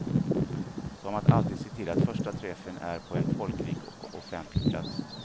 Som att alltid se till att första träffen är på en folkrik och offentlig plats.